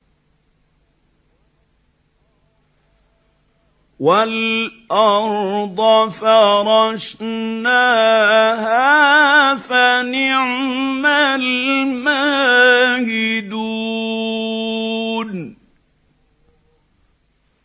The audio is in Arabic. وَالْأَرْضَ فَرَشْنَاهَا فَنِعْمَ الْمَاهِدُونَ